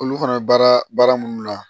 Olu fana bɛ baara baara minnu na